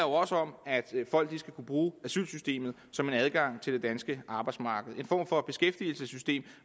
også om at folk skal kunne bruge asylsystemet som en adgang til det danske arbejdsmarked som en form for beskæftigelsessystem